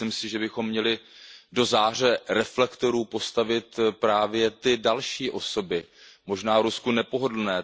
Myslím si, že bychom měli do záře reflektorů postavit právě ty další osoby, možná Rusku nepohodlné.